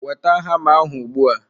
Weta hama ahụ ugbu a!